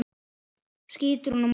skýtur hún á móti.